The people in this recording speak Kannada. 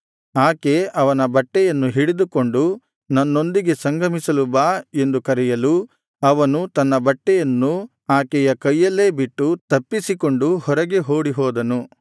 ಆಕೆ ಅವನ ಬಟ್ಟೆಯನ್ನು ಹಿಡಿದುಕೊಂಡು ನನ್ನೊಂದಿಗೆ ಸಂಗಮಿಸಲು ಬಾ ಎಂದು ಕರೆಯಲು ಅವನು ತನ್ನ ಬಟ್ಟೆಯನ್ನು ಆಕೆಯ ಕೈಯಲ್ಲೇ ಬಿಟ್ಟು ತಪ್ಪಿಸಿಕೊಂಡು ಹೊರಗೆ ಓಡಿಹೋದನು